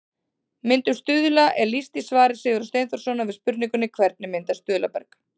Myndun stuðla er lýst í svari Sigurðar Steinþórssonar við spurningunni Hvernig myndast stuðlaberg?